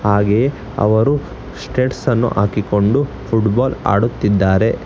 ಹಾಗೆ ಅವರು ಸ್ಟೇಟಸ್ ಅನ್ನು ಹಾಕಿಕೊಂಡು ಫುಟ್ಬಾಲ್ ಆಡುತ್ತಿದ್ದಾರೆ.